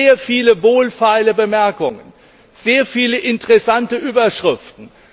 Sehr viele wohlfeile Bemerkungen, sehr viele interessante Überschriften!